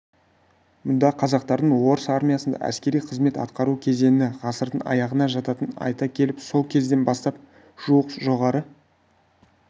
мұнда қазақтардың орыс армиясында әскери қызмет атқару кезеңі ғасырдың аяғына жататынын айта келіп сол кезден бастап жуық жоғары